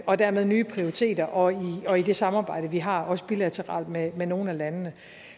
og dermed nye prioriteter og i det samarbejde vi har også bilateralt med nogle af landene